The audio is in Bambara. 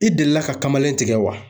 I delila ka kamalen tigɛ wa?